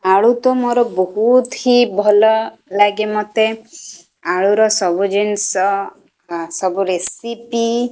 ଆଳୁ ତ ମୋର ବହୁତି ହି ଭଲ ଲାଗେ ମତେ। ଆଳୁର ସବୁ ଜିନିଷ ଅ ସବୁ ରେସିପି --